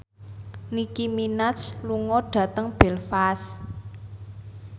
Nicky Minaj lunga dhateng Belfast